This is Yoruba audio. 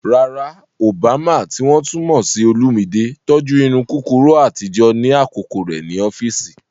Rárá, Obama, tí wọ́n tún mọ̀ sí Olumide, tọ́jú irun kúkúrú àtijọ́ ní àkókò rẹ̀ ní ọ́fíìsì.